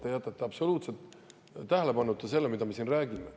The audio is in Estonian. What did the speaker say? Te jätate absoluutselt tähelepanuta selle, mida me siin räägime.